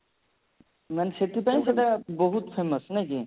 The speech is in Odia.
ସେଥିପାଇଁ ସେଟା ବହୁତ famous ନାଇଁ କି